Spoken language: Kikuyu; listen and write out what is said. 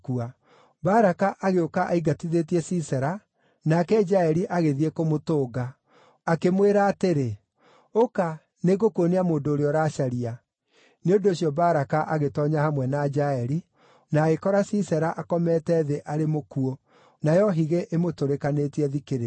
Baraka agĩũka aingatithĩtie Sisera, nake Jaeli agĩthiĩ kũmũtũnga. Akĩmwĩra atĩrĩ, “Ũka, nĩngũkuonia mũndũ ũrĩa ũracaria.” Nĩ ũndũ ũcio Baraka agĩtoonya hamwe na Jaeli, na agĩkora Sisera akomete thĩ arĩ mũkuũ nayo higĩ ĩmũtũrĩkanĩtie thikĩrĩrio.